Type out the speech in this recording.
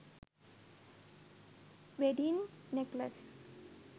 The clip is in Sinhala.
wedding necklace